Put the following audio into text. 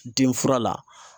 Denfura la